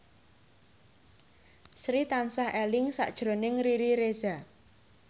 Sri tansah eling sakjroning Riri Reza